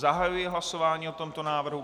Zahajuji hlasování o tomto návrhu.